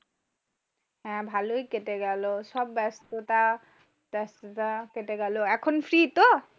হ্যাঁ ভালোই কেটে গেল সব ব্যস্ততা ব্যস্ততা কেটে গেল। এখন free তো?